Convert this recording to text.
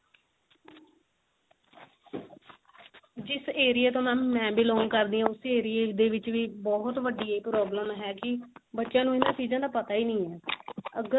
ਜਿਸ ਏਰੀਏ ਤੋਂ mam ਬੇਲੋੰਗ ਕਰਦੀ ਆਂ ਉਸੇ ਏਰਇਆ ਦੇ ਵਿੱਚ ਵੀ ਬਹੁਤ ਵਢੀ ਇਹ problem ਹੈ ਕੀ ਬੱਚਿਆਂ ਨੂੰ ਇਹਨਾਂ ਚੀਜ਼ਾਂ ਦਾ ਪਤਾ ਹੀ ਨਹੀ ਏ ਅਗਰ